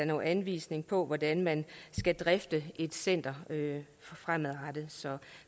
nogen anvisning på hvordan man skal drifte et center fremadrettet så